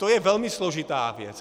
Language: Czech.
To je velmi složitá věc.